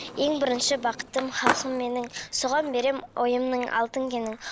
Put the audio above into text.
ең бірінші бақытым халқым менің соған берем ойымның алтын кенін